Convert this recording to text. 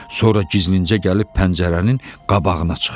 Sonra gizlincə gəlib pəncərənin qabağına çıxdı.